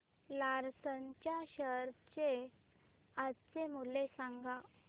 Larsen च्या share चे आजचे मूल्य सांगा